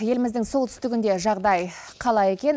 еліміздің солтүстігінде жағдай қалай екен